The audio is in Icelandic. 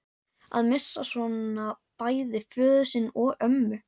Að missa svona bæði föður sinn og ömmu